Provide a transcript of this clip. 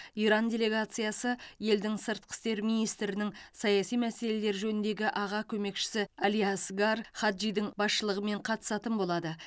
иран делегациясы елдің сыртқы істер министрінің саяси мәселелер жөніндегі аға көмекшісі али асгар хаджидің басшылығымен қатысатын болады